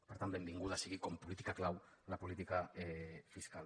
per tant benvinguda sigui com a política clau la política fiscal